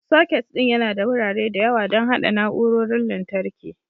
Socket ɗin yana da wurare da yawa don haɗa na'urorin lantarki.